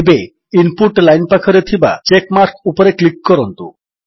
ଏବେ input line ପାଖରେ ଥିବା ଚେକ୍ ମାର୍କ ଉପରେ କ୍ଲିକ୍ କରନ୍ତୁ